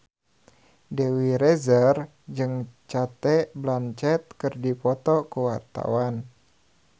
Dewi Rezer jeung Cate Blanchett keur dipoto ku wartawan